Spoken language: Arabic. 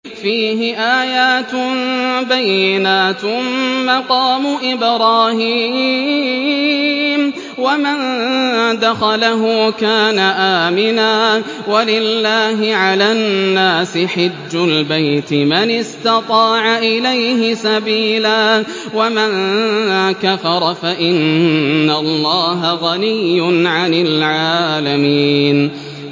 فِيهِ آيَاتٌ بَيِّنَاتٌ مَّقَامُ إِبْرَاهِيمَ ۖ وَمَن دَخَلَهُ كَانَ آمِنًا ۗ وَلِلَّهِ عَلَى النَّاسِ حِجُّ الْبَيْتِ مَنِ اسْتَطَاعَ إِلَيْهِ سَبِيلًا ۚ وَمَن كَفَرَ فَإِنَّ اللَّهَ غَنِيٌّ عَنِ الْعَالَمِينَ